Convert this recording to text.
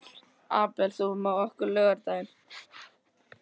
Abel, ferð þú með okkur á laugardaginn?